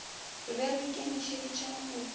re be re ikemišeditše go